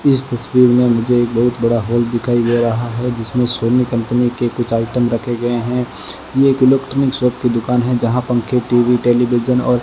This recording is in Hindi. इस तस्वीर मे मुझे एक बहुत बड़ा हॉल दिखाई दे रहा है जिसमें सोनी कंपनी के कुछ आइटम रखे गये है ये एक इलेक्ट्रॉनिक शॉप की दुकान है जहां पंखे टी_वी टेलीविजन और --